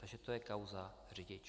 Takže to je kauza řidič.